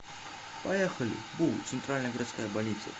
поехали бу центральная городская больница